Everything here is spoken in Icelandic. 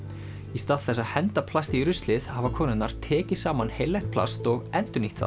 í stað þess að henda plasti í ruslið hafa konurnar tekið saman heillegt plast og endurnýtt það